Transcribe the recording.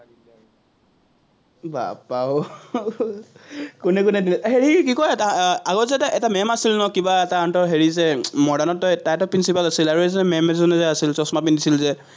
বাপ্পাও কোনে কোনে দিলে, হেৰি কি কয়, আগত যে এটা এটা maam আছিলে ন কিবা তাহাঁতৰ হেৰি যে modern ত তাইতো principal আছিলে, আৰু এজনী maam এজনী আছিল, চচমা পিন্ধিছিল যে